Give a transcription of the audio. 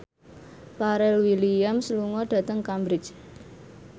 Pharrell Williams lunga dhateng Cambridge